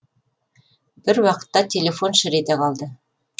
бір уақытта телефон шыр ете қалды